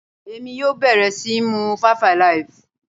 Èmi yóò bẹ̀rẹ̀ síí mu five alive.